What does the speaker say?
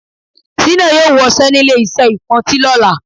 Sínà yóò wọṣẹ́nílé iṣẹ́ ìpọntí lọ́la